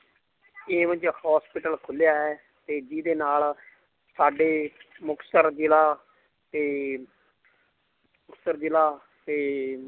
hospital ਖੁੱਲਿਆ ਹੈ ਤੇ ਜਿਹਦੇ ਨਾਲ ਸਾਡੇ ਮੁਕਤਸਰ ਜ਼ਿਲ੍ਹਾ ਤੇ ਮੁਕਤਸਰ ਜ਼ਿਲ੍ਹਾ ਤੇ